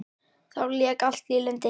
Þá lék allt í lyndi og addi flottur á því.